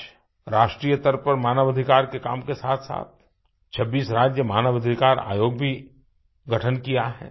आज राष्ट्रीय स्तर पर मानव अधिकार के काम के साथसाथ 26 राज्य मानव अधिकार आयोग भी गठन किया है